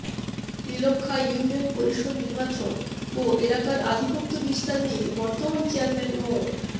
Nilakkha union পরিষদ নির্বাচন ও এলাকার আধিপত্য বিস্তার নিয়ে বর্তমান চেয়ারম্যান মো